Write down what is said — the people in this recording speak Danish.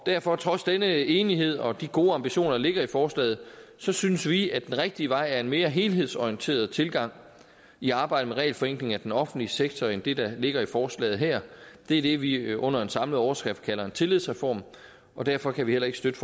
derfor trods denne enighed og de gode ambitioner der ligger i forslaget så synes vi at den rigtige vej er en mere helhedsorienteret tilgang i arbejdet med regelforenkling af den offentlige sektor end det der ligger i forslaget her det er det vi under en samlet overskrift kalder en tillidsreform og derfor kan vi heller ikke støtte